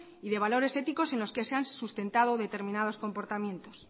y de valores éticos en los que se han sustentado determinados comportamientos